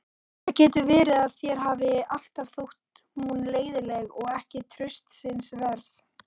Það getur verið að þér hafi alltaf þótt hún leiðinleg og ekki traustsins verð.